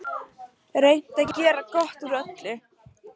Reynt að gera gott úr öllu.